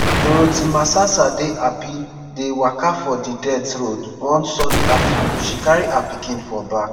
dorothy masasa dey happy dey waka for di dirt road one sunny afternoon she carry her pikin for back.